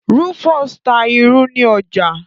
Rufus ta ìrù ní ọjà